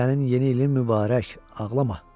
Sənin yeni ilin mübarək, ağlama.